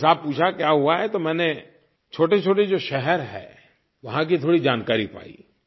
थोड़ा हिसाब पूछा क्या हुआ है तो मैंने छोटेछोटे जो शहर हैं वहाँ की थोड़ी जानकारी पाई